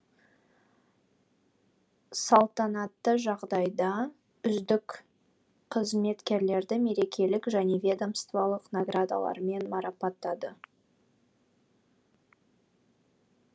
салтанатты жағдайда үздік қызметкерлерді мерекелік және ведомстволық наградалармен марапаттады